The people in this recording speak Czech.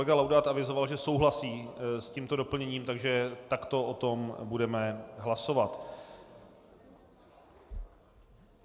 Kolega Laudát avizoval, že souhlasí s tímto doplněním, takže takto o tom budeme hlasovat.